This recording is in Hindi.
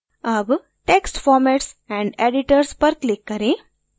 अब text formats and editors पर click करें